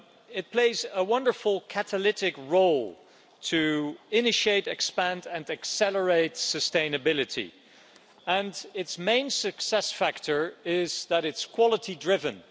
It plays a wonderful catalytic role to initiate, expand and accelerate sustainability, and its main success factor is that it's quality-driven.